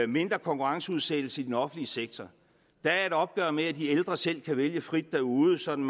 mindre konkurrenceudsættelse i den offentlige sektor der er et opgør med at de ældre selv kan vælge frit derude sådan